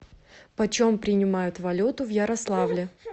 почем принимают валюту в ярославле